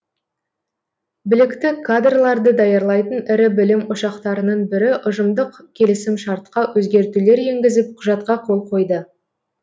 білікті кадрларды даярлайтын ірі білім ошақтарының бірі ұжымдық келісімшартқа өзгертулер енгізіп құжатқа қол қойды